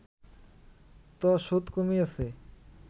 ত সুদ কমিয়েছে